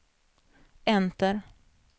enter